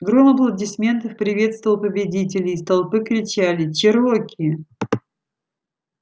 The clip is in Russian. гром аплодисментов приветствовал победителя из толпы кричали чероки